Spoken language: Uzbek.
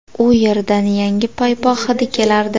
U yerdan yangi bo‘yoq hidi kelardi.